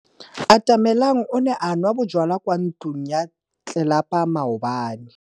Atamelang o ne a nwa bojwala kwa ntlong ya tlelapa maobane.